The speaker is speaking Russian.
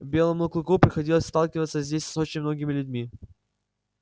белому клыку приходилось сталкиваться здесь с очень многими людьми